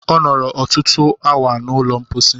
Ọ nọrọ ọtụtụ awa n'ụlọ mposi.